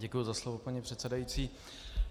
Děkuji za slovo, paní předsedající.